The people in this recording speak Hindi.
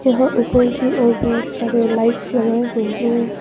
यहां ऊपर की ओर बहुत सारे लाइट्स लगाए हुए हैं।